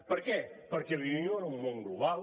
per què perquè vivim en un món global